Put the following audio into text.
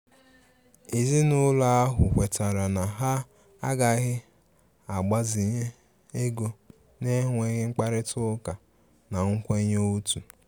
Ezinúlọ̀ ahụ̀ kwètàrà na ha agàghi agbazínye égò na-ènwèghi mkpárịtà ụ́kà na nkwènyé òtù.